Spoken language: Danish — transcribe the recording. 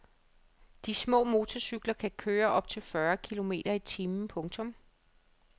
De små motorcykler kan køre op til fyrre kilometer i timen. punktum